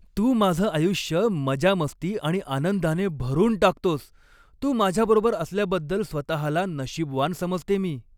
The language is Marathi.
तू माझं आयुष्य मजामस्ती आणि आनंदाने भरून टाकतोस. तू माझ्याबरोबर असल्याबद्दल स्वतहाला नशीबवान समजते मी.